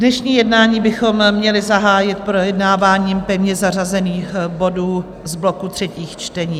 Dnešní jednání bychom měli zahájit projednáváním pevně zařazených bodů z bloku třetích čtení.